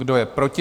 Kdo je proti?